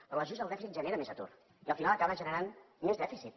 però l’ajust del dèficit genera més atur i al final acabes generant més dèficit